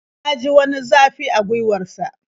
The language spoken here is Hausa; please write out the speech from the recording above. Ya ji wani zafi a gwiwar sa.